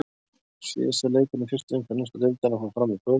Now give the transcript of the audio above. Síðasti leikurinn í fyrstu umferð ensku deildarinnar fór fram í kvöld.